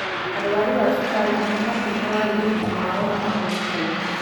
Arwaru a cukari nĩmabatie marorage ũgima wao wa magũru kaingĩ.